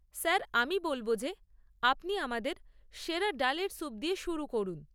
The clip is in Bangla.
স্যার, আমি বলব যে আপনি আমাদের সেরা ডালের সূপ দিয়ে শুরু করুন।